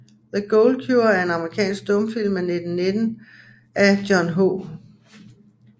The Gold Cure er en amerikansk stumfilm fra 1919 af John H